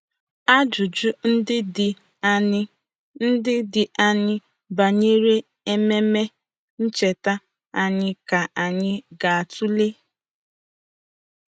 Ajụjụ ndị dị aṅaa ndị dị aṅaa banyere Ememe Ncheta anyị ka anyị ga-atụle?